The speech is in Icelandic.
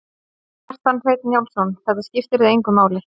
Kjartan Hreinn Njálsson: Þetta skiptir þig engu máli?